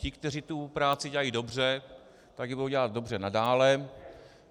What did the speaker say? Ti, kteří tu práci dělají dobře, tak ji budou dělat dobře nadále.